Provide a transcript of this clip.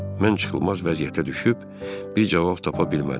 Mən çıxılmaz vəziyyətə düşüb bir cavab tapa bilmədim.